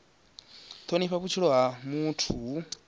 thonifha vhutshilo ha muthu hu